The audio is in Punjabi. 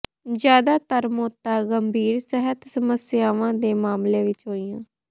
ਜਿਆਦਾਤਰ ਮੌਤਾਂ ਗੰਭੀਰ ਸਿਹਤ ਸਮੱਸਿਆਵਾਂ ਦੇ ਮਾਮਲਿਆਂ ਵਿੱਚ ਹੋਈਆਂ